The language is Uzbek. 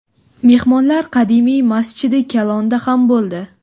Mehmonlar qadimiy Masjidi Kalonda ham bo‘ldi.